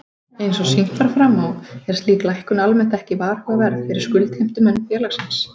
Eins og sýnt var fram á er slík lækkun almennt ekki varhugaverð fyrir skuldheimtumenn félagsins.